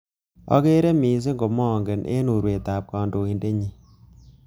Akere missing komange eng urwetab kandoindetnyi